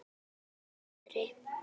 Ég kem til baka betri.